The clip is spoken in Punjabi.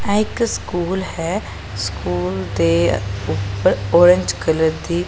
ਐ ਇਕ ਸਕੂਲ ਹੈ ਸਕੂਲ ਦੇ ਉੱਪਰ ਔਰੰਜ ਕਲਰ ਦੀ --